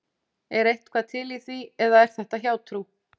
Er eitthvað til í því eða er þetta hjátrú?